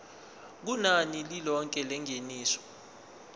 kunani lilonke lengeniso